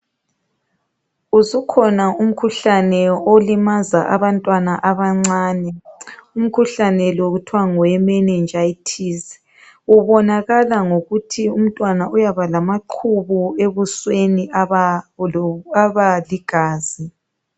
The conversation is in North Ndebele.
Usukhona umkhuhlane olimaza abantwana abancane. Umkhuhlane lo kuthiwa ngoweMenengitis. Ubonakala ngokuthi umntwana uyaba lamaqhubu ebusweni aba lo...abaligazi.